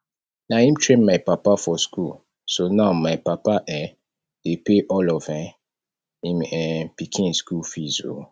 na im train my papa for school so now my papa um dey pay all of um im um pikin school fees oo